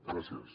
gràcies